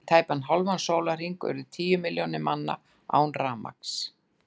Í tæpan hálfan sólarhring urðu níu milljónir manna án rafmagns.